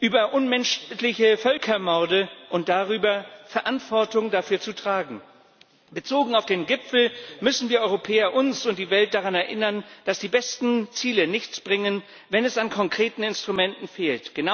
über unmenschliche Völkermorde und darüber, Verantwortung dafür zu tragen. Bezogen auf den Gipfel müssen wir Europäer uns und die Welt daran erinnern, dass die besten Ziele nichts bringen, wenn es an konkreten Instrumenten fehlt.